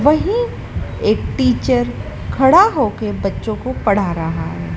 वहीं एक टीचर खड़ा हो के बच्चों को पढ़ा रहा है।